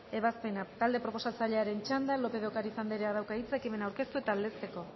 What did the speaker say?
ebazpena talde proposatzailearen txanda lópez de ocariz andreak dauka hitza ekimena aurkeztu eta aldezteko